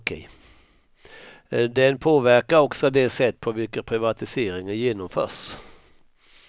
Den påverkar också det sätt på vilket privatiseringen genomförs.